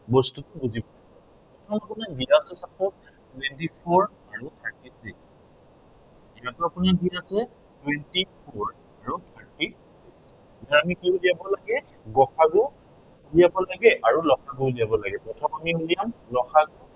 twenty four আৰু thirty three এই twenty four আৰু thirty এতিয়া আমি কি উলিয়াব লাগে গ সা গু উলিয়াব লাগে আৰু ল সা গু উলিয়াব লাগে। প্ৰথম আমি উলিয়াম ল সা গু